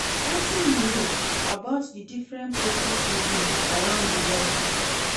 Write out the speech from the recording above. Wetin you know about di different protest movement around di world?